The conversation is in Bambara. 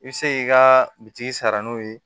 I bɛ se k'i ka bitigi sara n'o ye